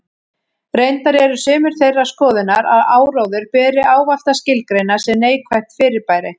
Reyndar eru sumir þeirrar skoðunar að áróður beri ávallt að skilgreina sem neikvætt fyrirbæri.